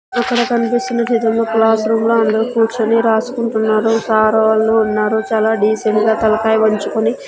ఇక్కడ కనిపిస్తున్న చిత్రంలో క్లాస్ రూమ్ లో అందరూ కూర్చొని రాసుకుంటున్నారు సార్ వాళ్ళు ఉన్నారు చాలా డీసెంట్గా తలకాయ వంచుకొని--